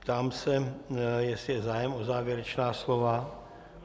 Ptám se, jestli je zájem o závěrečná slova.